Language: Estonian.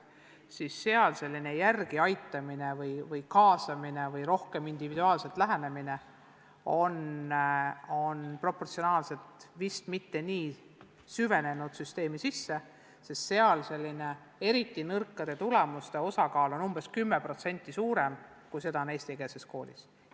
Vene koolis pole järeleaitamine või individuaalne lähenemine vist kuigi hästi rakendunud, sest seal on eriti nõrkade tulemustega õpilaste osakaal umbes 10% suurem kui eestikeelses koolis.